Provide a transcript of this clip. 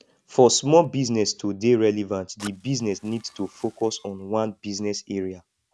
for small business to dey relevant di business need to focus on one business area